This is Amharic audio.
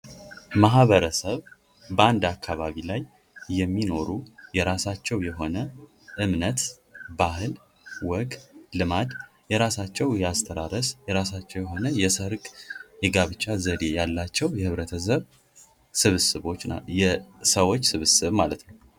ማህበረሰብ በአንድ አካባቢ ላይ የሚኖሩ የራሳቸው የሆነ እምነት ፣ ባህል ፣ ወግ ፣ ልማድ ፣ የራሳቸው የሆነ የአስተራረስ ፣ የራሳቸው የሆነ የሰርግ የጋብቻ ዘዴ ያላቸው የህብረተሰብ ስብስቦች ናቸው ። የሰዎች ስብስብ ማለት ነው ።